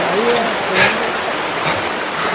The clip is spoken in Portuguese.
Aí acende.